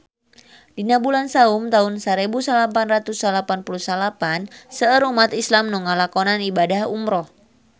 Dina bulan Saum taun sarebu salapan ratus salapan puluh salapan seueur umat islam nu ngalakonan ibadah umrah